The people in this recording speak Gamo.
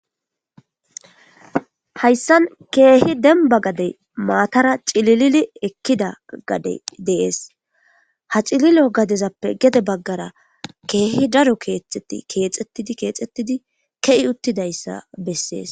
Hayssan keehi denba gadey maatara cililili ekkida gade dees ha cililo gadezappe gede baggara keehi daro keexeti keexetidi keexettidi ke'i uttidayssa bessees